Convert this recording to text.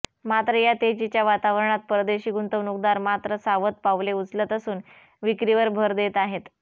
मात्र या तेजीच्या वातावरणात परदेशी गुंतवणूकदार मात्र सावध पावले उचलत असून विक्रीवर भर देत आहेत